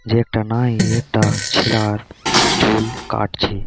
যে একটা নাই এ একটা ছেলার চুল কাটছে।